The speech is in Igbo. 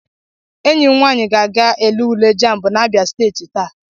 Enyi m nwaanyị ga-aga ele ule JAMB n'Abịa steeti taa.